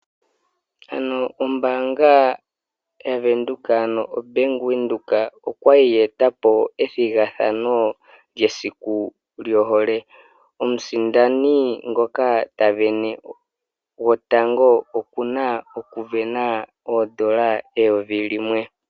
Ombaanga yaVenduka, ano Bank Windhoek oya li ye eta po mesiku lyohole. Omusindani ngoka ta ningi omusindani gotango oku na N$ 1000.